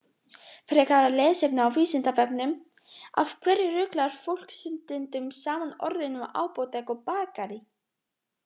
Frekara lesefni á Vísindavefnum: Af hverju ruglar fólk stundum saman orðunum apótek og bakarí?